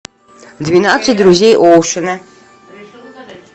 двенадцать друзей оушена